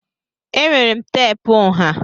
Enwere m teepu nha.